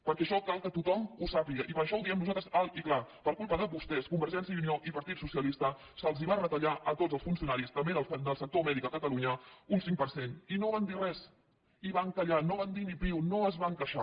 perquè això cal que tothom ho sàpiga i per això ho diem nosaltres alt i clar per culpa de vostès convergència i unió i partit socialista se’ls va retallar a tots els funcionaris també del sector mèdic a catalunya un cinc per cent i no van dir res i van callar no van dir ni piu no es van queixar